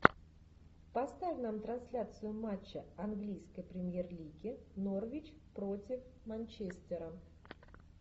поставь нам трансляцию матча английской премьер лиги норвич против манчестера